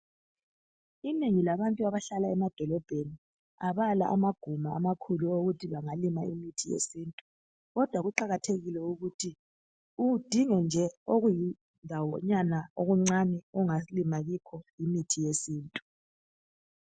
Inengi labantu abahlala emadolobheni abala amaguma amakhulu okokuthi bangalima umuthi wesintu kodwa kuqakathekile ukuthi udinge nje okuyindawo nyana okuncane ongalima kikho imithi yesintu.